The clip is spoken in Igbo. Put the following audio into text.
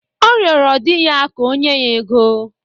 Ọ rịọrọ di ya ka o nye ya ego.